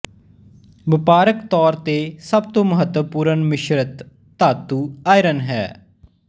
ਵਪਾਰਕ ਤੌਰ ਤੇ ਸਭ ਤੋਂ ਮਹੱਤਵਪੂਰਨ ਮਿਸ਼ਰਤ ਧਾਤੂ ਆਇਰਨ ਹੈ